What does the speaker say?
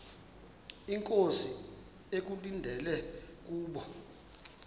inkosi ekulindele kubo